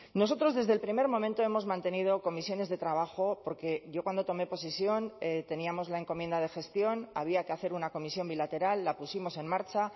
nosotros desde el primer momento hemos mantenido comisiones de trabajo porque yo cuando tomé posesión teníamos la encomienda de gestión había que hacer una comisión bilateral la pusimos en marcha